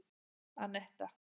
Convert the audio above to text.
Anetta